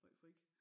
Meget fræk